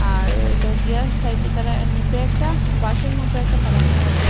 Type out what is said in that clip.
আর হইল গিয়া সাইডে তারা নিসে একটা বাঁশের মত একটা ফেলানি আসে ।